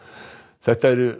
þetta eru